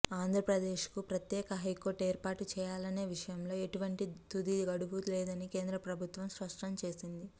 ఆంధ్రప్రదేశ్ కు ప్రత్యేక హైకోర్టు ఏర్పాటు చేయాలనే విషయంలో ఎటువంటి తుదిగడువు లేదని కేంద్ర ప్రభుత్వం స్పష్టం చేసింది